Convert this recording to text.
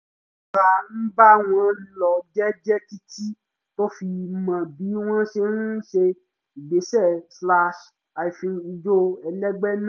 ó rọra ń bá wọn lọ jẹ́jẹ́ títí tó fi mọ bí wọ́n ṣe ń ṣe ìgbésẹ̀-ijó ẹlẹ́gbẹ́ náà